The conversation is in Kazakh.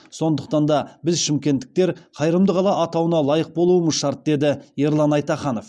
сондықтан да біз шымкенттіктер қайырымды қала атауына лайық болуымыз шарт деді ерлан айтаханов